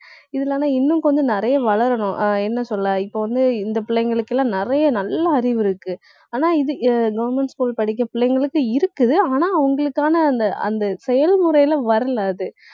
இதுல ஆனா இன்னும் கொஞ்சம் நிறைய வளரணும். ஆஹ் என்ன சொல்ல இப்போ வந்து, இந்த பிள்ளைங்களுக்கு எல்லாம் நிறைய நல்ல அறிவு இருக்கு. ஆனா இது எ~ government school படிக்கிற பிள்ளைங்களுக்கு இருக்குது. ஆனா அவங்களுக்கான அந்த அந்த செயல் முறையிலே வரலை அது